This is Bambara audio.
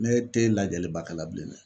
Ne te lajɛliba kɛla bilen dɛ